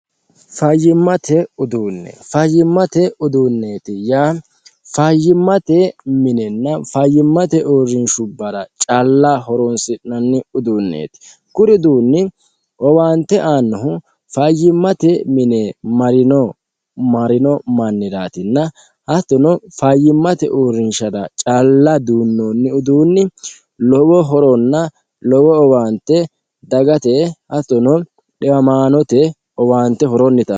fayyimmate uduunne fayyimmate uduune yaa fayyimmate minenna fayyimmate uurrinshubbara calla horoonsi'nonni uduunneeti kuri uduunni owaante aannohu fayyimmate mine marino manniraatinna hattono fayyimmate uurrinshara calla duunnoonni uduunni lowo horoonna lowo owaante dagate hattono dhiwamaanote owaante horonnita aano.